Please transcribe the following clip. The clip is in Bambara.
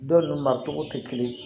Dɔw n'u ma cogo tɛ kelen ye